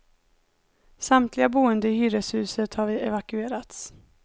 Samtliga boende i hyreshuset har evakuerats.